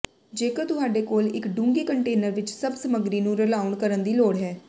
ਜੇਕਰ ਤੁਹਾਡੇ ਕੋਲ ਇੱਕ ਡੂੰਘੀ ਕੰਟੇਨਰ ਵਿੱਚ ਸਭ ਸਮੱਗਰੀ ਨੂੰ ਰਲਾਉਣ ਕਰਨ ਦੀ ਲੋੜ ਹੈ